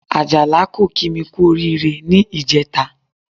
Àjàlá kò kí mi kú oríire ní ìjẹta